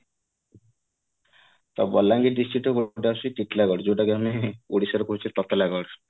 ତ ବଲାଙ୍ଗିର district ରେ ଗୋଟେ ଆସୁଛି ଟିଟଲାଗଡ ଯୋଉଟା କି ଆମେ ଓଡିଶା ର ବହୁଚେ ତତଲାଗଡ